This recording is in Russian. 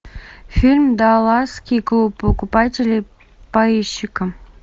фильм далласский клуб покупателей поищи ка